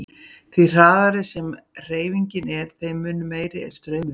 Því hraðari sem hreyfingin er þeim mun meiri er straumurinn.